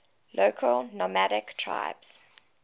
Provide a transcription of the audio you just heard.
local nomadic tribes